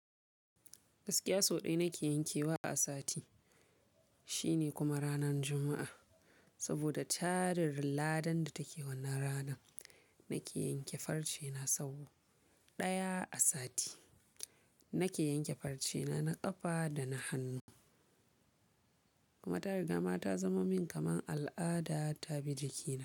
Gaskiya so ɗaya nake yankewa a sati, shine kuma ranar Juma'a. Saboda tarar ladan da take wannan rana nake yanke farce na sabo. Ɗaya a sati nake yanke farce na, na ƙafa da na hannu. Kuma ta riga ma ta zama min kaman al'ada ta bi jikina.